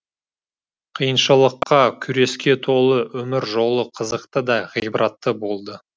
қиыншылыққа күреске толы өмір жолы қызықты да ғибратты болды